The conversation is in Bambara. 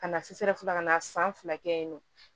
Ka na sufɛla ka na san fila kɛ yen nɔ